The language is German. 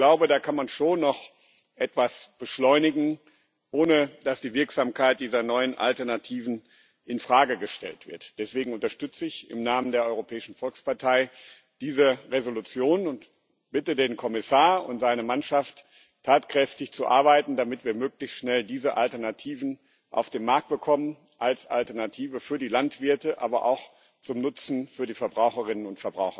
Ich glaube, da kann man schon noch etwas beschleunigen, ohne dass die Wirksamkeit dieser neuen Alternativen in Frage gestellt wird. Deswegen unterstütze ich im Namen der Europäischen Volkspartei diese Entschließung und bitte den Kommissar und seine Mannschaft, tatkräftig zu arbeiten, damit wir möglichst schnell diese Alternativen auf den Markt bekommen als Alternative für die Landwirte, aber auch zum Nutzen für die Verbraucherinnen und